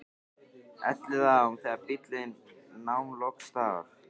Elliðaám þegar bíllinn nam loks staðar.